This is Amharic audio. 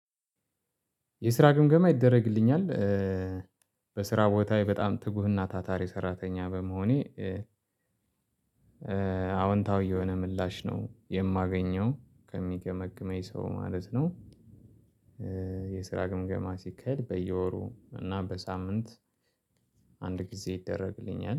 የስራ ግምገማ ይደረግልኛል በስራ ቦታ በጣም ትጉህና ታታሬ ሰራተኛ በመሆኔ። አዎንታዊ የሆነ ምላሽ ነው የማገኘው ከሚገመግመኝ ሰው ማለት ነው። የስራ ግምገማ ሲከድ በየወሩ እና በሳምንት አንድ ጊዜ ይደረግልኛል